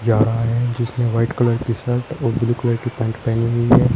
जा रहा है जिसने व्हाइट कलर की शर्ट और ब्लू कलर कि पैंट पहनी हुई है।